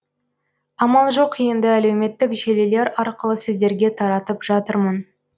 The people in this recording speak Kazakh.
амал жоқ енді әлеуметтік желілер арқылы сіздерге таратып жатырмын